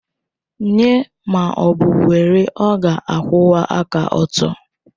Nye ma ọ bụ were, ọ ga-akwụwa aka ọtọ.